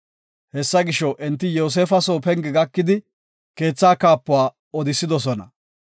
Hessa gisho, enti Yoosefa soo penge gakidi, keetha kaapuwa odisidosona.